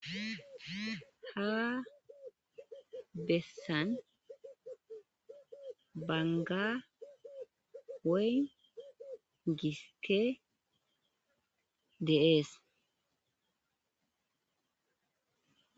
Ha besan banga woy gisite geas.